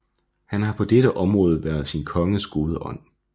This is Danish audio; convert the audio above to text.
Han har på dette område været sin konges gode ånd